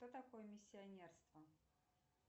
что такое миссионерство